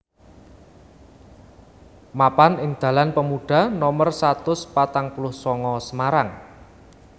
Mapan ing dalan Pemuda nomer satus patang puluh sanga Semarang